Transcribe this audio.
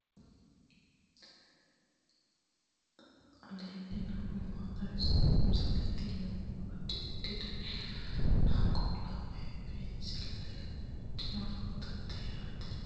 aleenni nooti maa xawisanno misileeti yinummoro addi addi dananna kuula woy biinsille amaddino footooti yaate qoltenno baxissannote konnira dancha gede assine haara danchate mine minne hee'noonnihu hala'adu xawi mereero noohu leellanni nooe